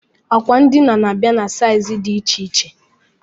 Bedi ndina na-abịa na saizi dị iche iche